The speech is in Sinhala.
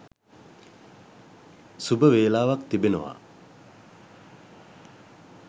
සුබ වේලාවක් තිබෙනවා.